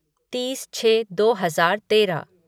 तीस छः दो हजार तेरह